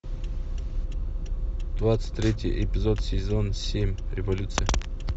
двадцать третий эпизод сезон семь революция